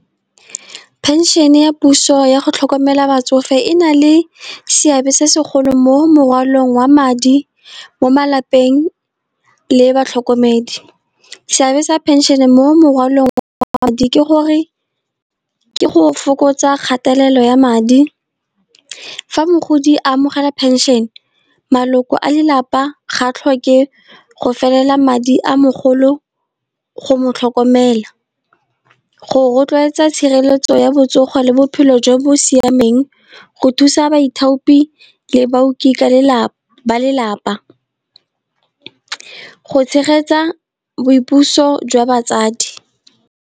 Pension-e ya puso yago tlhokomela batsofe, e na le seabe se segolo mo mokwalong wa madi mo malapeng le batlhokomedi. Seabe sa phenšene mo mokwalong wa madi, ke go fokotsa kgatelelo ya madi. Fa mogodi amogela pension maloko a lelapa ga tlhoke go felela madi a mogolo go motlhokomela. Go rotloetsa tshireletso ya botsogo le bophelo jo bo siameng, go thusa baithaopi le baoki ba lelapa, go tshegetsa boipuso jwa batsadi.